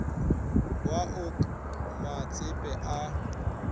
wa o k matsepe a